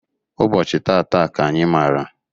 Ụbọchị tata ka anyị mara